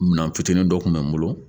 Minɛn fitinin dɔ kun bɛ n bolo